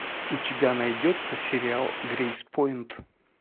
у тебя найдется сериал грейспойнт